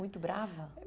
Muito brava?